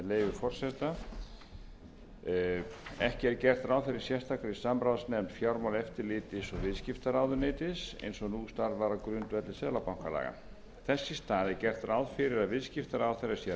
leyfi forseta ekki er gert ráð fyrir sérstakri samráðsnefnd fjármálaeftirlits og viðskiptaráðuneytisins eins og nú starfar á grundvelli seðlabankalaga þess í stað er gert ráð fyrir að viðskiptaráðherra sé reglulega gerð grein